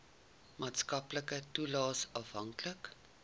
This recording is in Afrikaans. maatskaplike toelaes afhanklik